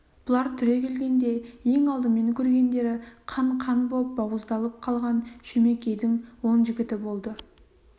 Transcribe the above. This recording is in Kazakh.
бұлар түрегелгенде ең алдымен көргендері қан-қан боп бауыздалып қалған шөмекейдің он жігіті болды